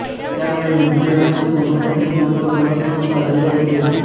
त्यामुळे हिंदू धर्माचे समाजातील महत्व कमी होत चालले होते